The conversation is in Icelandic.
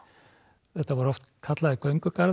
þetta voru oft kallaðir